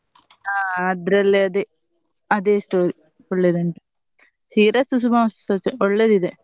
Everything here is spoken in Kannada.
ಹಾ ಅದ್ರಲ್ಲಿ ಅದೇ ಅದೇ story ಒಳ್ಳೆದುಂಟು ಶ್ರೀರಸ್ತು ಶುಭಮಸ್ತು ಸ ಒಳ್ಳೆದಿದೆ